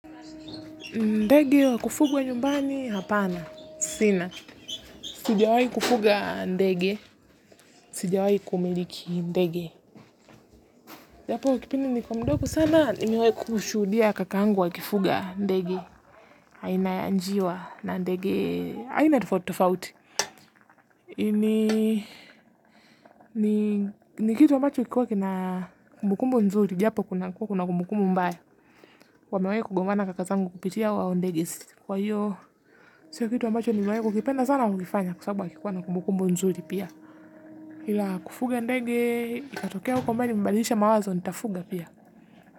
Ndege wa kufugwa nyumbani hapana. Sina. Sijawai kufuga ndege. Sijawai kumiliki ndege. Japo kwa kipindi nilikuwa mdogo sana nimewai kushuhudia kakangu akifuga ndege. Aina ya njiwa na ndege aina tofauti tofauti. Ini ni kitu ambacho kikuwa kina kumbukumbu nzuri. Japo kuna kumbukumbu mbaya. Wamewai kugombana kaka zangu kupitia hawa ndege kwa hiyo sio kitu ambacho nimewai kukipenda sana kukifanya kwa sabu hakikuwa na kumbukumbu nzuri pia ila kufuga ndege ikatokea huko mbele nimebadilisha mawazo nitafuga pia.